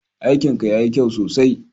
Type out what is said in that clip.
Aikin ka ya yi kyau sosai.